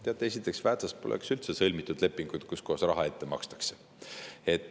Teate, esiteks, Väätsas poleks üldse sõlmitud lepinguid, kus raha ette makstakse.